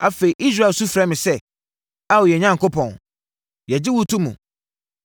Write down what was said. Afei, Israel su frɛ me sɛ, ‘Ao, yɛn Onyankopɔn, yɛgye wo to mu!’